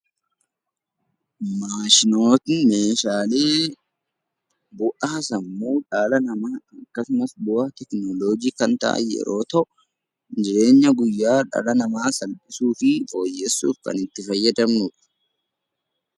Maashinoonni bu'aa sammuu dhala namaa akkasumas bu'aa teekinooloojii kan ta'an yeroo ta'u, jireenya guyyaa dhala namaa salphisuu fi fooyyessuuf kan itti fayyadamnu dha.